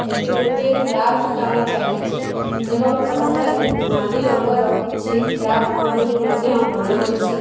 ଏଠି ଗୋଟିଏ କ୍ରାଫ୍ଟ କାମ ଚାଲିଛି ଏବଂ ତା ପାଖରେ ନାଲି ରଙ୍ଗର କିଛି କ୍ରାଫ୍ଟ ମଧ୍ୟ ବନା ହେଇଛି।